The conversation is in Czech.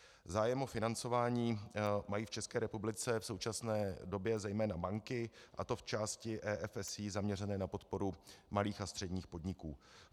Zájem o financování mají v České republice v současné době zejména banky, a to v části EFSI zaměřené na podporu malých a středních podniků.